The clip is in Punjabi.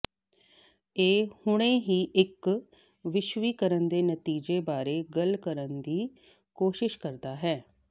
ਇਹ ਹੁਣੇ ਹੀ ਇੱਕ ਵਿਸ਼ਵੀਕਰਨ ਦੇ ਨਤੀਜੇ ਬਾਰੇ ਗੱਲ ਕਰਨ ਦੀ ਕੋਸ਼ਿਸ਼ ਕਰਦਾ ਹੈ